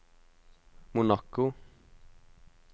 Monaco